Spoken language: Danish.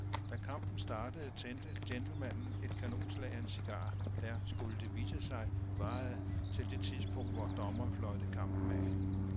Da kampen startede tændte gentlemanen et kanonslag af en cigar, der, skulle det vise sig, varede til det tidspunkt, hvor dommeren fløjtede kampen af.